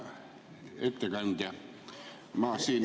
Hea ettekandja!